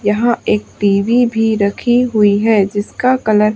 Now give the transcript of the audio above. यहां एक टी_वी भी रखी हुई हैं जिसका कलर --